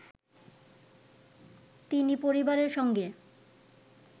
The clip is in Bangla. তিনি পরিবারের সঙ্গে